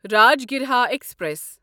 Rajgriha express